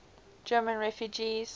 german refugees